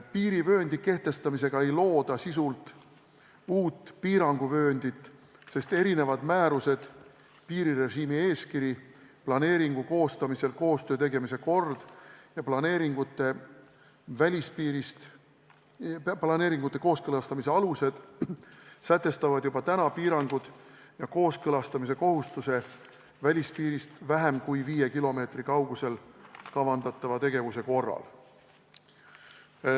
Piirivööndi kehtestamisega ei looda sisult uut piiranguvööndit, sest erinevad määrused, piirirežiimi eeskiri, planeeringu koostamisel koostöö tegemise kord ja planeeringute kooskõlastamise alused sätestavad juba praegu piirangud ja kooskõlastamise kohustuse välispiirist vähem kui viie kilomeetri kaugusele kavandatava tegevuse korral.